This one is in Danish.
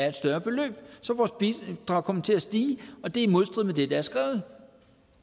et større beløb så vores bidrag kommer til at stige og det er i modstrid med det der er skrevet